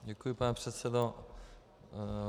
Děkuji, pane předsedo.